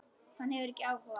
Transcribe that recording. Hann hefur ekki áhuga.